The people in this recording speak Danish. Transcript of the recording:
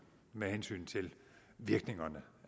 med hensyn til virkningerne